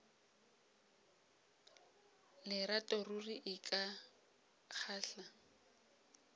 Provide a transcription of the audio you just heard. lerato ruri e ka kgahla